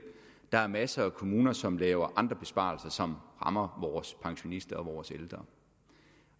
der er masser af kommuner som laver andre besparelser som rammer vores pensionister og vores ældre